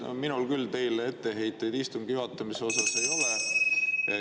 Meil, minul küll teile etteheiteid istungi juhatamise osas ei ole.